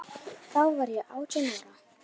Þá var ég átján ára.